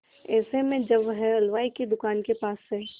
ऐसे में जब वह हलवाई की दुकान के पास से